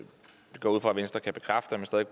venstre kan bekræfte